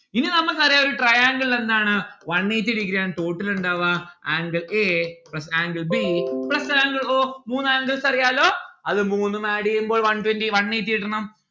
ഇനി നമ്മക്കറിയാ ഒരു triangle എന്താണ് one eighty ആണ് total ഇണ്ടാവാ angle a plus angle b plus angle o മൂന്ന് angles അറിയാലോ അത് മൂന്നും add എയ്യുമ്പോൾ one twenty one eighty കിട്ടണം